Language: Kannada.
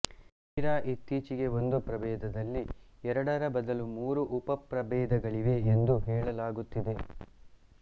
ತೀರ ಇತ್ತೀಚೆಗೆ ಒಂದು ಪ್ರಭೇದದಲ್ಲಿ ಎರಡರ ಬದಲು ಮೂರು ಉಪಪ್ರಭೇದಗಳಿವೆ ಎಂದು ಹೇಳಲಾಗುತ್ತಿದೆ